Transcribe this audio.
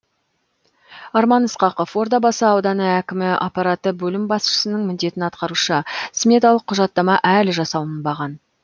арман ысқақов ордабасы ауданы әкімі аппараты бөлім басшысының міндетін атқарушы сметалық құжаттама әлі жасалынбаған